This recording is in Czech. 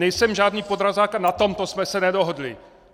Nejsem žádný podrazák a na tomto jsme se nedohodli!